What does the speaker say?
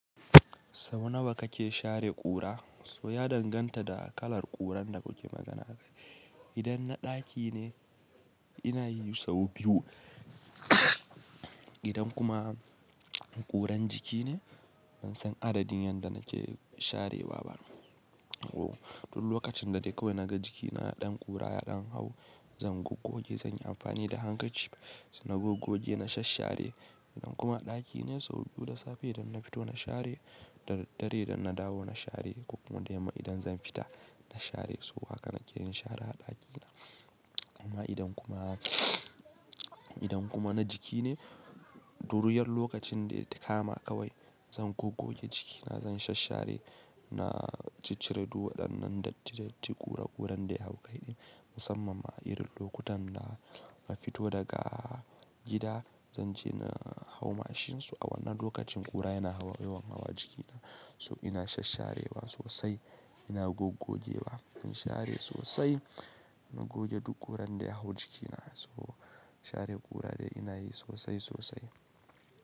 Sau nawa kake share ƙura? So ya danganta da kalar ƙuran da kuke magana. Idan na ɗaki ne, ina yi sau biyu. Idan kuma ƙuran jiki ne, ban san adadin yanda nake sharewa ba. To lokacin da dai kawai naga jikina ɗan ƙura ya ɗan hau, zan gogoge, zan yi amfani da hankaci. Na gogoge, na shashshare. Idan kuma a ɗaki ne, sau biyu da safe idan na fito na share, da dare idan na dawo na share, ko kuma da yamma idan zan fita na share. So haka nake yin shara a ɗakina. Kuma idan kuma, idan kuma na jiki ne, duruyar lokacin da takama kawai zan gogoge jikina, zan shashshare, na ciccire duk waddan nan datti datti ƙura ƙuran da ya hau kai ɗin. Musammam ma a irin lokutan da na fito daga gida, zan je na hau mashin, so a wannan lokacin ƙura yana yawan hawa jikina. So ina sassharewa sosai, ina gogogewa, ina share sosai, na goge duk ƙuran da ya hau jikina. So share ƙura dai ina yi sosai sosai.